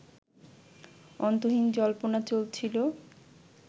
অন্তহীন জল্পনা চলছিলো